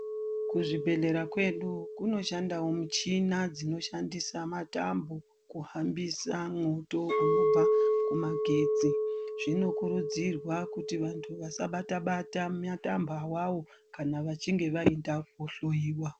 Kuzvibhedhlera kwedu kunoshandawo muchina dzinoshandise matambo kuhambisa mwoto unobva kumagetsi zvinokurudzirwa kuti vantu vasabata bata matambo awawo kana vachinge vaenda kohloyiwa.